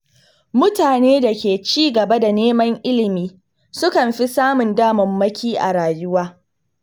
Mutane da ke ci gaba da neman ilimi sukan fi samun damammaki a rayuwa.